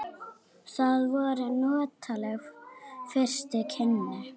Það voru notaleg fyrstu kynni.